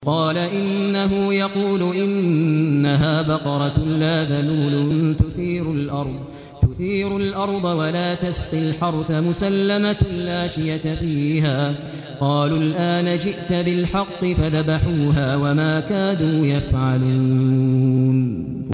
قَالَ إِنَّهُ يَقُولُ إِنَّهَا بَقَرَةٌ لَّا ذَلُولٌ تُثِيرُ الْأَرْضَ وَلَا تَسْقِي الْحَرْثَ مُسَلَّمَةٌ لَّا شِيَةَ فِيهَا ۚ قَالُوا الْآنَ جِئْتَ بِالْحَقِّ ۚ فَذَبَحُوهَا وَمَا كَادُوا يَفْعَلُونَ